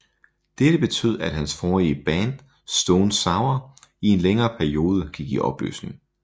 Dette betød at hans forrige band Stone Sour i en længere periode gik i opløsning